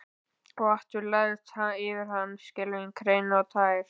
Og aftur lagðist yfir hann skelfing hrein og tær.